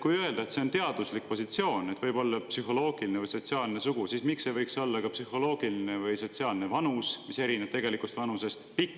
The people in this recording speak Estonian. Kui öelda, et see on teaduslik positsioon, et võib olla psühholoogiline või sotsiaalne sugu, siis miks ei võiks olla ka psühholoogiline või sotsiaalne vanus, mis erineb tegelikust vanusest?